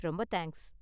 ரொம்ப தேங்க்ஸ்.